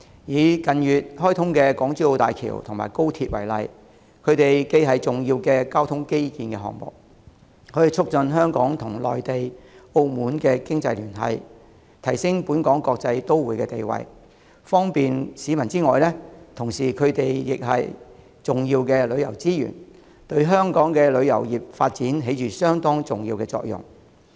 以近月開通的港珠澳大橋和高鐵為例，它們既是重要的交通基建項目，可促進香港與內地和澳門的經濟聯繫，提升本港國際都會的地位和方便市民，同時亦是重要的旅遊資源，對香港的旅遊業發展起着相當重要的作用。